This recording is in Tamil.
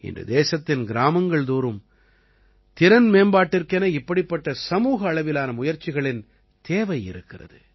இன்று தேசத்தின் கிராமங்கள்தோறும் திறன் மேம்பாட்டிற்கென இப்படிப்பட்ட சமூக அளவிலான முயற்சிகளின் தேவை இருக்கிறது